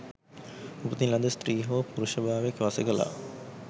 උපතින් ලද ස්ත්‍රී හෝ පුරුෂ භාවය පසෙක ලා